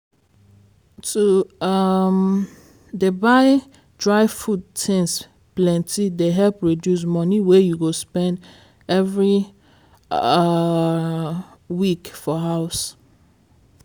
to um dey buy dry food things plenty dey help reduce money wey you go spend every um week for house.